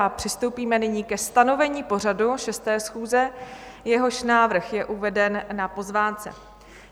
A přistoupíme nyní ke stanovení pořadu 6. schůze, jehož návrh je uveden na pozvánce.